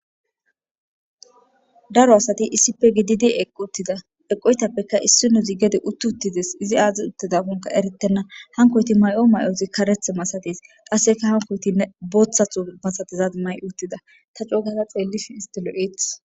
Daro asati issippe gididi eq uttida eqoytappekka issi no zi gede utti uttides izi aazi uttidahonka eretenna hankoyti may'o may7ozi kareth masatis qasseka hankoytinne booththatho masatizad may uttida ta coogaza xeellif istilo7eeth.